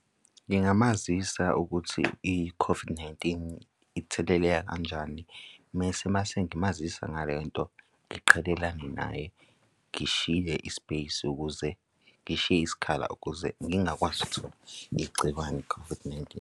Ngingamazisa ukuthi i-COVID-19 itheleleka kanjani? Mese umase ngimazisa ngale nto ngiqhelelane naye, ngishiye i-space ukuze ngishiye isikhala, ukuze ngingakwazi ukuthola igciwane i-COVID-19.